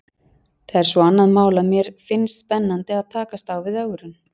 Það er svo annað mál að mér finnst spennandi að takast á við ögrun.